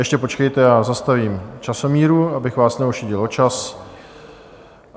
Ještě počkejte, já zastavím časomíru, abych vás neošidil o čas.